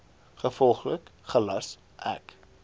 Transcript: gevolglik gelas ek